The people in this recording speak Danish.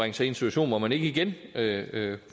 en situation hvor man ikke igen